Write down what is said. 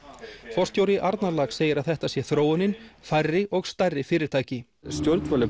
forstjóri Arnarlax segir að þetta sé þróunin færri og stærri fyrirtæki stjórnvöld